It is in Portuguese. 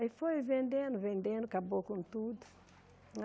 Aí foi vendendo, vendendo, acabou com tudo.